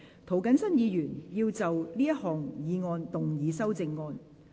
涂謹申議員要就這項議案動議修正案。